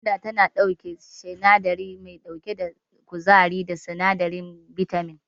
Gwanda tana ɗauke da sinadari mai saka kuzari da sinadarin bitamin.